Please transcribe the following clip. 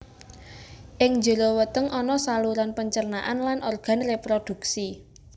Ing jero weteng ana saluran pencernaan lan organ reproduksi